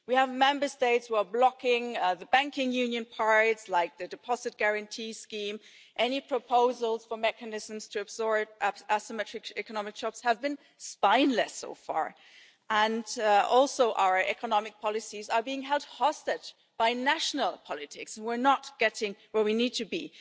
We have Member States who are blocking the banking union parts, like the Deposit Guarantee Scheme, and any proposals for mechanisms to absorb asymmetric economic shocks have been spineless so far. Also, our economic policies are being held hostage by national politics and we are not getting where we need to be.